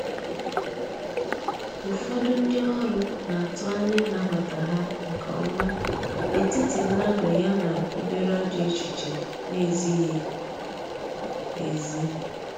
ụfọdụ ndi ọrụ n'atụ anya ịnabata ha nke ọma n’etiti mmadụ ya na obere ajọ echiche na ezighi ezi